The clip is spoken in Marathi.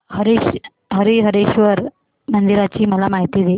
हरीहरेश्वर मंदिराची मला माहिती दे